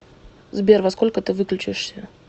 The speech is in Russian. сбер во сколько ты выключишься